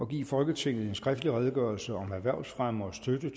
give folketinget en skriftlig redegørelse om erhvervsfremme og støtte